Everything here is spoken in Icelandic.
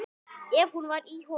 Ef hún var í honum.